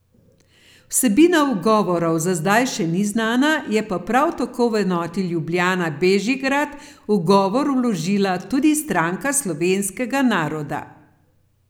Vsebina ugovorov za zdaj še ni znana, je pa prav tako v enoti Ljubljana Bežigrad ugovor vložila tudi Stranka slovenskega naroda.